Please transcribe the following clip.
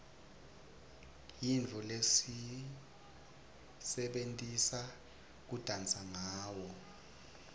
yintfo lesiyisebentisa kudansa ngawo